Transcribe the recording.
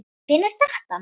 Hvenær datt hann?